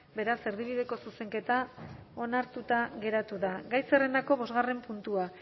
beraz erdibideko zuzenketa onartuta geratu da gai zerrendako bosgarren puntua